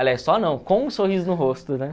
Aliás, só não, com sorriso no rosto, né?